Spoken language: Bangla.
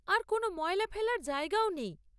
আর কোনও ময়লা ফেলার জায়গাও নেই।